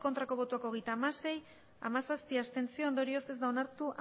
bai hogeita hamasei ez hamazazpi abstentzio ondorioz ez da onartu